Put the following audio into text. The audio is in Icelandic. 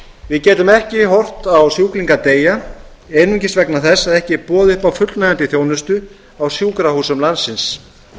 við getum ekki horft á sjúklinga deyja einungis vegna þess að ekki er boðið upp á fullnægjandi þjónustu á sjúkrahúsum landsins